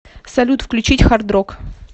салют включить хард рок